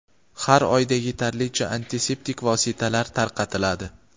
har oyda yetarlicha antiseptik vositalar tarqatiladi.